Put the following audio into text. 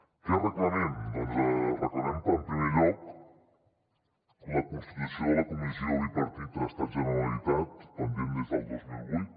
què reclamem doncs reclamem en primer lloc la constitució de la comissió bilateral estat generalitat pendent des del dos mil vuit